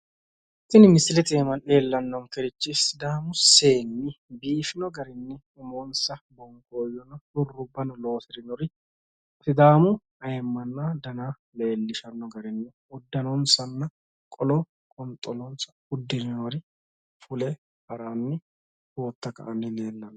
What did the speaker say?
Tenne misilete aana leellannonkeri Siidaamu seenni biifino garinni budu uduunne uddire qolonna qonxolo uddire biife haranni noore leellishshanno misileeti.